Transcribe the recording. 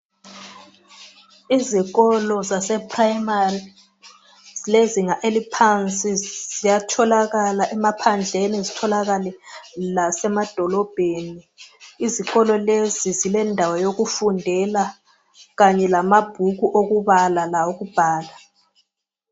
Izikolo zase primary zilezinga eliphansi ziyatholakala emaphandleni zitholakale lasemadolobheni Izikolo lezi zilendawo yokufundela Kanye lamabhuku okubala lawokubhala.